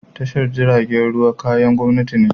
Tashar jiragen ruwa kayan gwamnati ne.